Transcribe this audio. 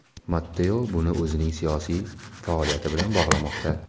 Matteo buni o‘zining siyosiy faoliyati bilan bog‘lamoqda.